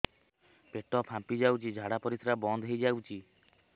ପେଟ ଫାମ୍ପି ଯାଉଛି ଝାଡା ପରିଶ୍ରା ବନ୍ଦ ହେଇ ଯାଉଛି